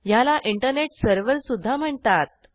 ह्याला इंटरनेट सर्व्हरसुध्दा म्हणतात